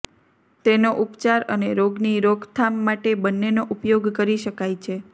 તેનો ઉપચાર અને રોગની રોકથામ માટે બંનેનો ઉપયોગ કરી શકાય છે